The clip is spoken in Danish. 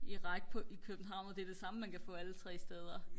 i række på i København og det er det samme man kan få alle tre steder